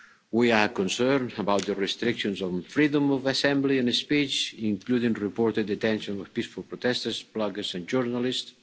We are concerned about the restrictions on freedom of assembly and speech, including the reported detention of peaceful protesters, bloggers and journalists.